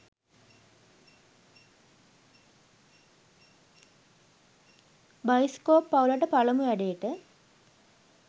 bioscope පවුලට පළමු වැඩේට